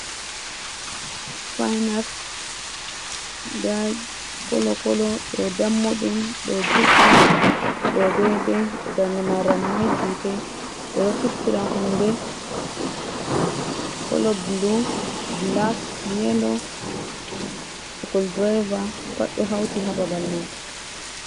Supinas nda kolo kolo ɗo dammu ɗum, ɗo juɗɗum, ɗo dei dei, darde man ramai, jutei, ɓe ɗo fistira hunde kolo blu, blak, yelo, sucul driver, pat ɗo hauti ha babal man.